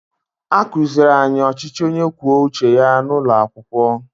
A kụziiri anyị ọchịchị onye kwuo uche ya n’ụlọ akwụkwọ